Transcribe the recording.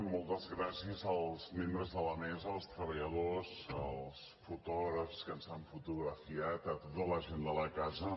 moltes gràcies als membres de la mesa als treballadors als fotògrafs que ens han fotografiat a tota la gent de la casa